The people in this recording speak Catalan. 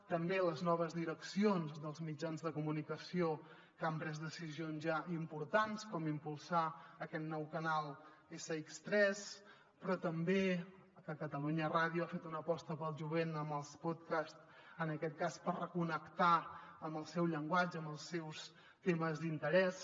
també les noves direccions dels mitjans de comunicació que han pres decisions ja importants com impulsar aquest nou canal sx3 però també que catalunya ràdio ha fet una aposta pel jovent amb els pòdcasts en aquest cas per reconnectar amb el seu llenguatge amb els seus temes d’interès